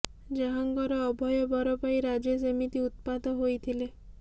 ଯାହାଙ୍କର ଅଭୟ ବର ପାଇ ରାଜେଶ ଏମିତି ଉତ୍ପାତ ହୋଇଥିଲେ